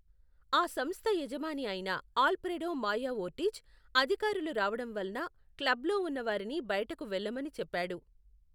ఆ సంస్థ యజమాని అయిన ఆల్ఫ్రెడో మాయా ఓర్టిజ్, అధికారులు రావడం వలన క్లబ్లో ఉన్న వారిని బయటకు వెళ్లమని చెప్పాడు.